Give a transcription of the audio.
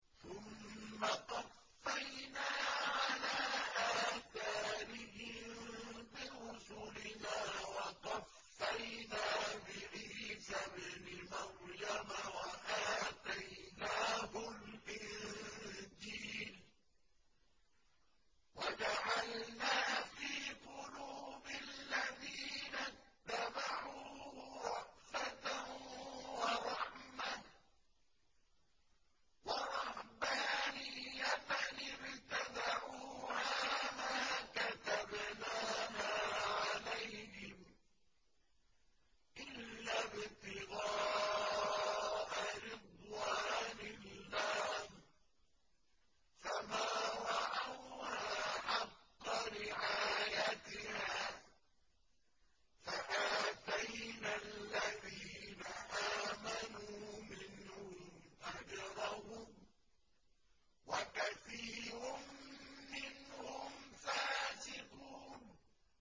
ثُمَّ قَفَّيْنَا عَلَىٰ آثَارِهِم بِرُسُلِنَا وَقَفَّيْنَا بِعِيسَى ابْنِ مَرْيَمَ وَآتَيْنَاهُ الْإِنجِيلَ وَجَعَلْنَا فِي قُلُوبِ الَّذِينَ اتَّبَعُوهُ رَأْفَةً وَرَحْمَةً وَرَهْبَانِيَّةً ابْتَدَعُوهَا مَا كَتَبْنَاهَا عَلَيْهِمْ إِلَّا ابْتِغَاءَ رِضْوَانِ اللَّهِ فَمَا رَعَوْهَا حَقَّ رِعَايَتِهَا ۖ فَآتَيْنَا الَّذِينَ آمَنُوا مِنْهُمْ أَجْرَهُمْ ۖ وَكَثِيرٌ مِّنْهُمْ فَاسِقُونَ